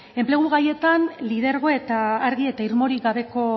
enplegu gaietan lidergo eta argi eta irmorik gabeko